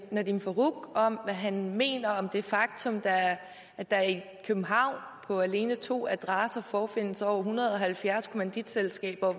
nadeem farooq om hvad han mener om det faktum at der i københavn alene på to adresser forefindes over en hundrede og halvfjerds kommanditselskaber